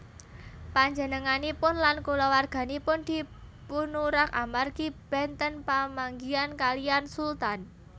Panjenenganipun lan kulawarganipun dipunurak amargi benten pamanggihan kaliyan Sultan